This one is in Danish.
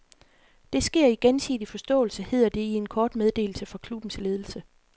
Det sker i gensidig forståelse, hedder det i en kort meddelelse fra klubbens ledelse.